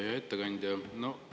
Hea ettekandja!